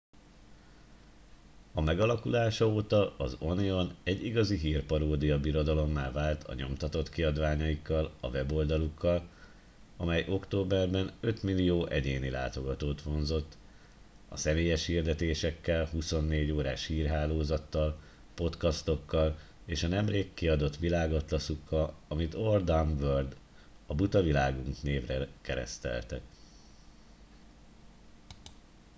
"a megalakulása óta az onion egy igazi hírparódia birodalommá vált a nyomtatott kiadványaikkal a weboldalukkal amely októberben 5.000.000 egyéni látogatót vonzott a személyes hirdetésekkel 24 órás hírhálozattal podcastokkal és a nemrég kiadott világatlaszukkal amit "our dumb world" a buta világunk névre kereszteltek.